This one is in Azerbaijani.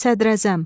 Sədrəzəm,